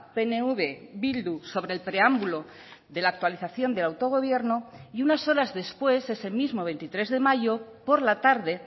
pnv bildu sobre el preámbulo de la actualización del autogobierno y unas horas después ese mismo veintitrés de mayo por la tarde